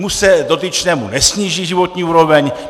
Už se dotyčnému nesníží životní úroveň.